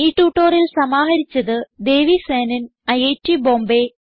ഈ ട്യൂട്ടോറിയൽ സമാഹരിച്ചത് ദേവി സേനൻ ഐറ്റ് ബോംബേ